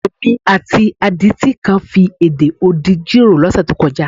Èmi àti adití kan fi èdè odi jíròrò lọ́sẹ̀ tó kọjá.